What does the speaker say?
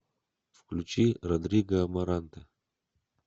включи родриго амаранте